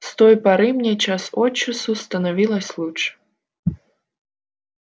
с той поры мне час от часу становилось лучше